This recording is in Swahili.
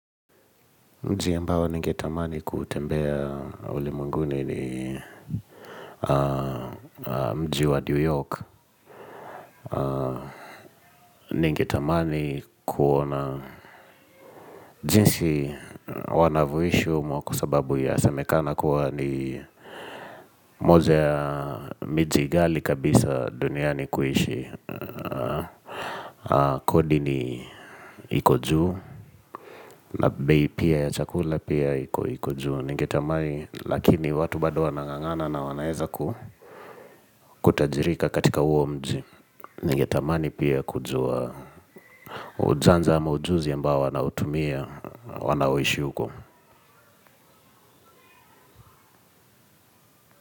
Mji ambao ningetamani kuutembea ulimwenguni ni mji wa New York. Ningetamani kuona jinsi wanavyoishi humo kwa sababu yasemekana kuwa ni moja ya miji ghali kabisa duniani kuishi. Kodi ni iko juu na bei pia ya chakula pia iko juu. Ningetamani lakini watu bado wanang'ang'ana na wanaeza kutajirika katika huo mji Ningetamani pia kujua ujanja ama ujuzi ambao wanautumia wanaoishi huko.